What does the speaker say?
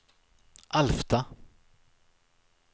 Alfta